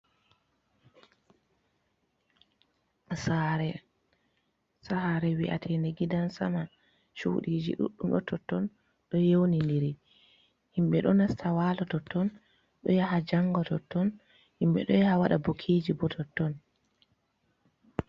Saare, sare wi'atende gidansama cudiji ɗuɗɗum ɗo totton ɗo yewniniri, himɓe ɗo nasta walo totton, ɗo yaha janga totton, himɓe ɗo yaha waɗa bukiji bo totton.